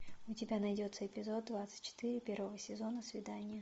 у тебя найдется эпизод двадцать четыре первого сезона свидание